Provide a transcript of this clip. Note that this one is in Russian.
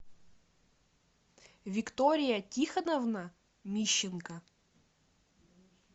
виктория тихоновна мищенко